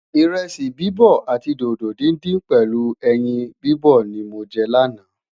iresi bibọ àti dodo dindin pèlú ẹyìn bibọ ní mọ jẹ lana